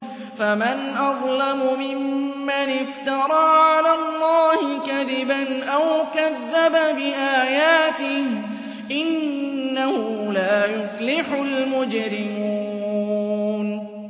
فَمَنْ أَظْلَمُ مِمَّنِ افْتَرَىٰ عَلَى اللَّهِ كَذِبًا أَوْ كَذَّبَ بِآيَاتِهِ ۚ إِنَّهُ لَا يُفْلِحُ الْمُجْرِمُونَ